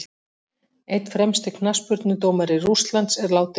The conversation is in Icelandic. Einn fremsti knattspyrnudómari Rússlands er látinn.